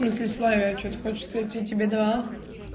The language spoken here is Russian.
если с вами что ты хочешь сказать тебе давала